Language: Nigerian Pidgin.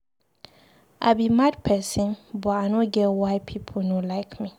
I be mad person but I no get why people no like me.